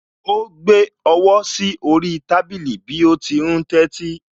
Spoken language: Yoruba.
Ó gbé ọwọ́ sí orí tábìlì bí ó ti ń tẹ́tí